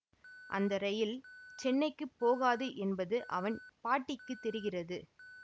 அந்த ரயில் சென்னைக்கு போகாது என்பது அவன் பாட்டிக்கு தெரிகிறது